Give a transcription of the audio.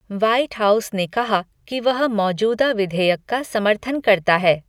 White House ने कहा कि वह मौजूदा विधेयक का समर्थन करता है।